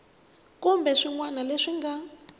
kumbe swin wana leswi nga